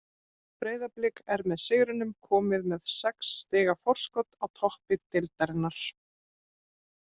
Breiðablik er með sigrinum komið með sex stiga forskot á toppi deildarinnar.